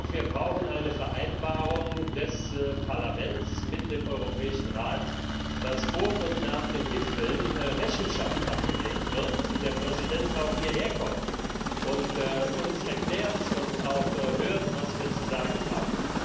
Wir brauchen eine Vereinbarung des Parlaments mit dem Europäischen Rat, dass vor und nach den Gipfeln Rechenschaft abgelegt wird, dass der Präsident auch hierher kommt und uns erklärt und auch hört, was wir zu sagen haben.